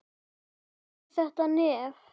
Og með þetta nef.